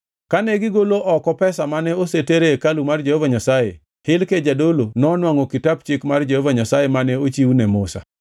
Kane gigolo oko pesa mane oseter e hekalu mar Jehova Nyasaye, Hilkia jadolo nonwangʼo Kitap Chik mar Jehova Nyasaye mane ochiw ne Musa.